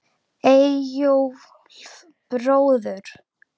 Eyjólf bróður.